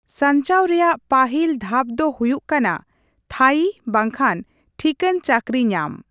ᱥᱟᱧᱪᱟᱣ ᱨᱮᱭᱟᱜ ᱯᱟᱹᱦᱤᱞ ᱫᱷᱟᱯ ᱫᱚ ᱦᱩᱭᱩᱜ ᱠᱟᱱᱟ ᱛᱷᱟᱭᱤ ᱵᱟᱝᱠᱷᱟᱱ ᱴᱷᱤᱠᱟᱹᱱ ᱪᱟᱹᱠᱨᱤ ᱧᱟᱢ ᱾